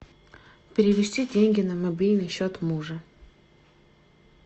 перевести деньги на мобильный счет мужа